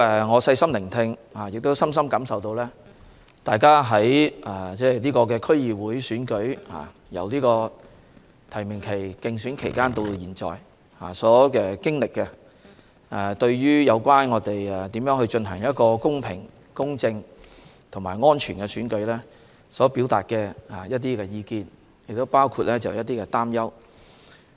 我細心聆聽議員的發言，也深深感受到他們對區議會選舉，由提名期、競選期直至現在所經歷的過程，以及對如何進行公平、公正和安全的選舉表達的意見及擔憂。